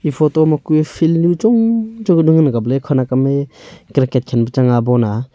e photo ma kue fieldnu chong chong kanu ngan ang kap ley.